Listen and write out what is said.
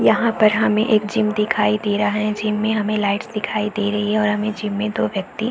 यहाँ पर हमें एक जिम दिखाई दे रहा है जिम में हमें लाइट्स दिखाई दे रही है और हमें जिम में दो व्यक्ति --